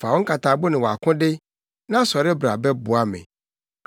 Fa wo nkatabo ne wʼakode; na sɔre bra bɛboa me.